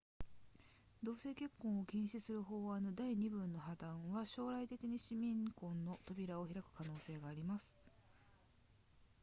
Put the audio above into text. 同性結婚を禁止する法案の第二文の破綻は将来的に市民婚の扉を開く可能性があります